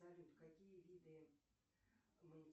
салют какие виды